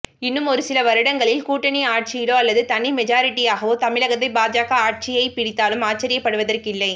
இன்னும் ஒருசில வருடங்களில் கூட்டணி ஆட்சியிலோ அல்லது தனி மெஜாரிட்டியாகவோ தமிழகத்தை பாஜக ஆட்சியை பிடித்தாலும் ஆச்சரியப்படுவதற்கில்லை